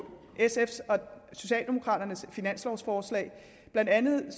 socialdemokraternes finanslovforslag blandt andet ved